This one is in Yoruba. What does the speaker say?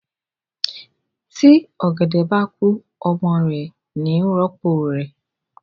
Tí ọ̀gẹ̀dẹ̀ bá kú ọmọ ẹ̀ ni í rọ́pò rẹ̀